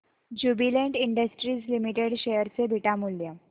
Jubilant Industries Limited share चे beta मूल्य